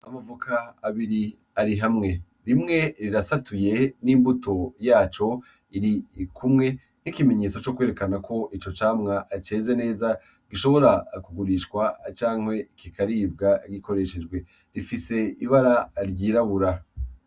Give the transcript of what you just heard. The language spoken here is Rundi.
Amavoka abiri ari hamwe, rimwe rirasatuye n'imbuto yaco riri kumwe n'ikimenyetso co kwerekana ko ico camwa ceze neza gishobora kugurishwa canke kikaribwa. Rifise ibara ry'irabura.